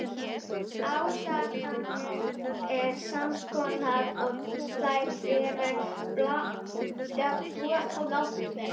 Ásakanir sams konar og þær, sem bornar voru á Tékka.